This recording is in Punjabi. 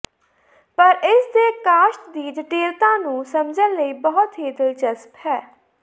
ਪਰ ਇਸ ਦੇ ਕਾਸ਼ਤ ਦੀ ਜਟਿਲਤਾ ਨੂੰ ਸਮਝਣ ਲਈ ਬਹੁਤ ਹੀ ਦਿਲਚਸਪ ਹੈ